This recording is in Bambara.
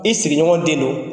I sigiɲɔgɔn den do